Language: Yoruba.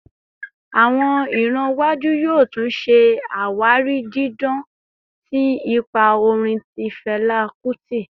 Awọn iran iwaju yoo tun ṣe awari didan ti ipa orin ti Fẹla Kuti